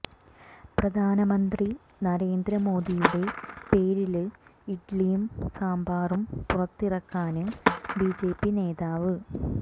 പ്രധാനമന്ത്രി നരേന്ദ്ര മോദിയുടെ പേരില് ഇഡ്ലിയും സാമ്പാറും പുറത്തിറക്കാന് ബിജെപി നേതാവ്